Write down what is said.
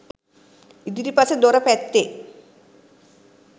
ඉදිරිපස දොර පැත්තේ